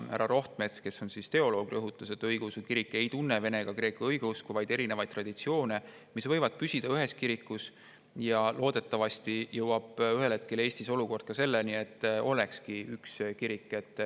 Härra Rohtmets, kes on teoloog, rõhutas, et õigeusu kirik ei tunne vene ega kreeka õigeusku, vaid erinevaid traditsioone, mis võivad püsida ühes kirikus, ja et loodetavasti jõuab Eestis olukord ühel hetkel selleni, et ongi üks kirik.